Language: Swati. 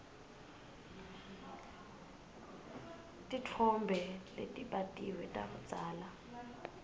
titfombe letibatiwe takudzala